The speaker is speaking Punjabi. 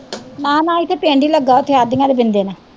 ਨਾ ਨਾ ਇੱਥੇ ਪਿੰਡ ਈ ਲੱਗਾ ਉੱਥੇ ਆਦੀਆ ਦੇ ਬਿੰਦੇ ਨਾ।